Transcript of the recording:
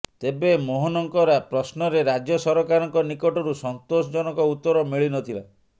ତେବେ ମୋହନଙ୍କ ପ୍ରଶ୍ନରେ ରାଜ୍ୟ ସରକାରଙ୍କ ନିକଟରୁ ସନ୍ତୋଷ ଜନକ ଉତ୍ତର ମିଳିନଥିଲା